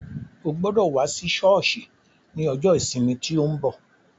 Ó gbọ́dọ̀ wá sí sọ́ọ̀sì ní ọjọ́ ìsinmi tí ó ń bọ̀.